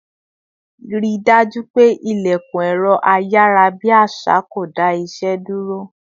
Rí dájú pé ilẹkun ẹrọ ayarabi àṣà kò dá ìṣe dúró